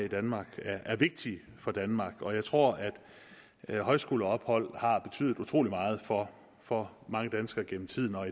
af i danmark er vigtige for danmark og jeg tror at højskoleophold har betydet utrolig meget for for mange danskere gennem tiden og